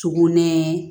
Sugunɛ